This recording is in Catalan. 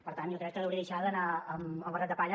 per tant jo crec que hauria de deixar d’anar amb barret de palla